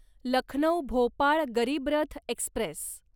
Lucknow Bhopal Garib Rath Express